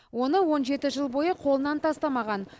оны он жеті жыл бойы қолынан тастамаған